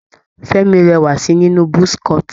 Fẹ́mi rẹwà si nínú buzz cut.